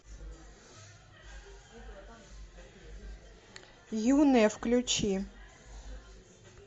юные включи